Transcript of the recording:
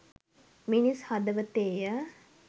මිනිස් හදවතේය